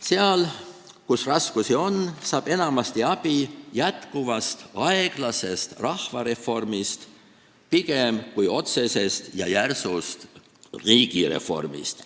Seal, kus raskusi on, saab enamasti abi pigem jätkuvast aeglasest rahvareformist kui otsesest ja järsust riigireformist.